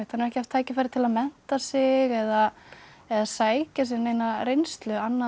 ekki haft tækifæri til að mennta sig eða eða sækja sér neina reynslu annað en